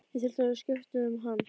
Ég þurfti að skipta um hann.